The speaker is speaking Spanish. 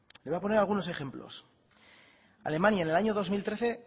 le voy a poner algunos ejemplos alemania en el año dos mil trece